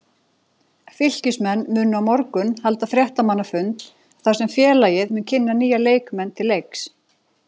Fylkismenn munu á morgun halda fréttamannafund þar sem félagið mun kynna nýja leikmenn til leiks.